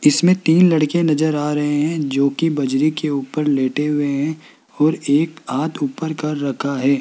इसमें तीन लड़के नजर आ रहे हैं जो कि बजरी के ऊपर लेटे हुए हैं और एक हाथ ऊपर कर रखा है।